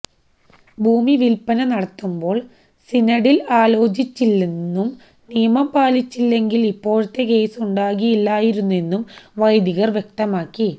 ഭൂമി വിൽപ്പന നടത്തുമ്പോൾ സിനഡിൽ ആലോചിച്ചില്ലെന്നും നിയമം പാലിച്ചില്ലെങ്കിൽ ഇപ്പോഴത്തെ കേസുണ്ടാകില്ലായിരുന്നെന്നും വെെദികർ വ്യക്തമാക്കി